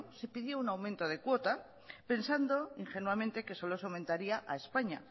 se pidió un aumento de cuota pensando ingenuamente que solo se aumentaría a españa